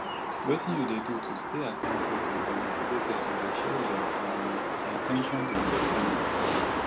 wetin you dey do to stay accountable and motivated you dey share your um in ten tions with your friends